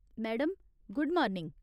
Madam, good morning.